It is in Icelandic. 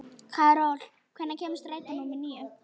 Karol, hvenær kemur strætó númer níu?